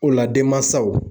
O la denmansaw